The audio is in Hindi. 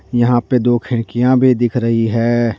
यहां पे दो खिड़कियां भी दिख रही है।